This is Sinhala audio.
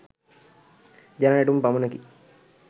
ජන නැටුම් පමණකි.